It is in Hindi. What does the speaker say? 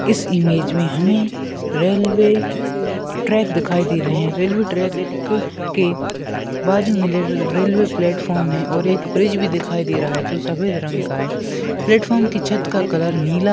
इस इमेज मे हमे रेल्वे ट्रैक दिखाई दे रहे है। रेल्वे ट्रैक के बाजूमे रे-रेल्वे प्लॅटफॉर्म है और एक ब्रिज भी दिखाई दे रहा है। जो सफ़ेद रंग का है। प्लेटफॉर्म की छत का कलर नीला --